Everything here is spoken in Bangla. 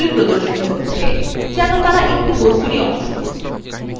হ্যান্ডলগুলি প্রদর্শিত হচ্ছে যেন তারা একটি বস্তুরই অংশ